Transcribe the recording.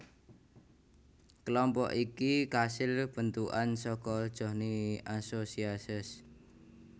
Kelompok iki kasil bentukan saka Johnny Associates